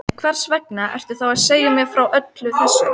Kristján Már Unnarsson: Rólega á þetta?